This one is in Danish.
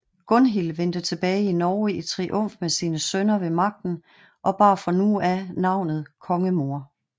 Gunhild vendte tilbage til Norge i triumf med sine sønner ved magten og bar fra nu af tilnavnet kongemor